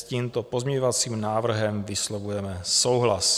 S tímto pozměňovacím návrhem vyslovujeme souhlas.